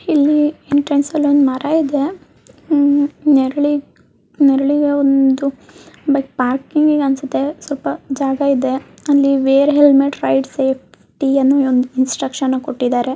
ಇಲ್ಲಿ ಎಂಟ್ರನ್ಸ್ ಅಲ್ಲಿ ಒಂದು ಮರ ಇದೆ. ನೆರಳಿರೋ ಒಂದು ಬೆಡ್ ಪಾರ್ಕಿಂಗ್ ಅದೇ ಸ್ವಲ್ಪ ಜಾಗ ಇದೆ ಅಲ್ಲಿವೇ ರೈಲ್ವೆ ಅಂತ ಒಂದು ಇನ್ಸ್ಟ್ರಕ್ಷನ್ ಕೂಡ ಕೊಟ್ಟಿದ್ದಾರೆ.